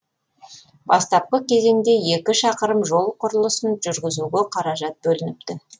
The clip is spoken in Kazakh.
бастапқы кезеңде екі шақырым жол құрылысын жүргізуге қаражат бөлініпті